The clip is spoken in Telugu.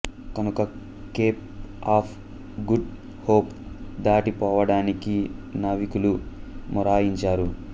కనుక కేప్ ఆఫ్ గుడ్ హోప్ దాటి పోవడానికి నావికులు మొరాయించారు